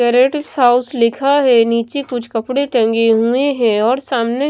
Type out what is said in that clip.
house लिखा है नीचे कुछ कपड़े टंगे हुए हैं और सामने--